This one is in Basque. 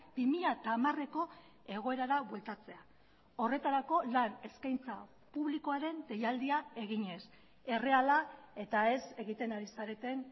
bi mila hamareko egoerara bueltatzea horretarako lan eskaintza publikoaren deialdia eginez erreala eta ez egiten ari zareten